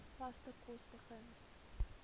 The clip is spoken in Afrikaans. vaste kos begin